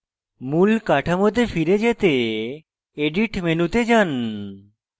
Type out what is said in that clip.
মূল কাঠামোতে ফিরে পেতে edit মেনুতে যান